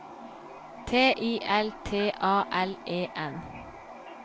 T I L T A L E N